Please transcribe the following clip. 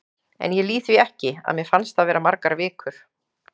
En ég lýg því ekki, að mér fannst það vera margar vikur.